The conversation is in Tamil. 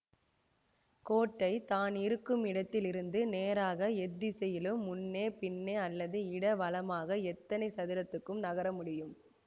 கோட்டை தான் இருக்கும் இடத்தில் இருந்து நேராக எத்திசையிலும் முன்னே பின்னே அல்லது இட வலமாக எத்தனை சதுரத்துக்கும் நகரமுடியும்